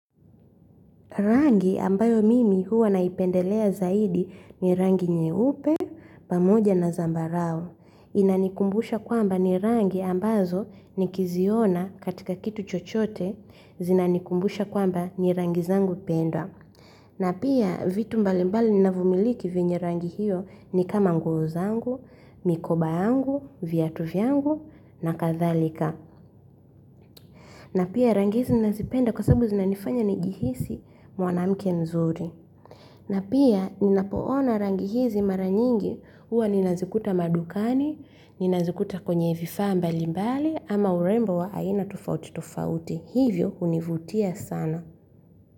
Rangi ambayo mimi huwa naipendelea zaidi ni rangi nyeupe, pamoja na zambarau. Inanikumbusha kwamba ni rangi ambazo nikiziona katika kitu chochote, zinanikumbusha kwamba ni rangi zangu pendwa. Na pia vitu mbalimbali ninavyomiliki vyenye rangi hiyo ni kama nguo zangu, mikoba yangu, viatu vyangu na kadhalika. Na pia rangi hizi ninazi penda kwa sababu zinanifanya ni jihisi mwanamke nzuri. Na pia ninapo ona rangi hizi mara nyingi huwa nina zikuta madukani, ninazikuta kwenye vifaa mbalimbali ama urembo wa aina tofauti tofauti. Hivyo univutia sana.